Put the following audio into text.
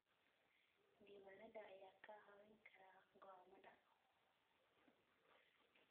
Diiwaanada ayaa kaa caawin kara go'aamada.